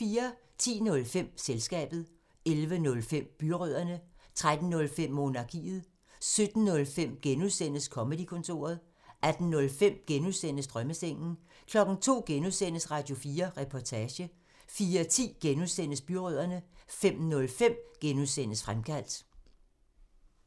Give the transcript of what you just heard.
10:05: Selskabet 11:05: Byrødderne 13:05: Monarkiet 17:05: Comedy-kontoret (G) 18:05: Drømmesengen (G) 02:00: Radio4 Reportage (G) 04:10: Byrødderne (G) 05:05: Fremkaldt (G)